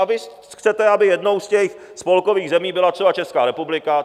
A vy chcete, aby jednou z těch spolkových zemí byla třeba Česká republika.